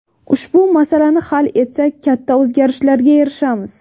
Ushbu masalani hal etsak katta o‘zgarishlarga erishamiz.